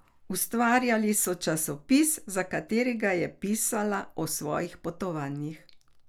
Ustvarjali so časopis, za katerega je pisala o svojih potovanjih.